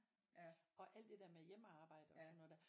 Og alt det der med hjemmearbejde og sådan noget der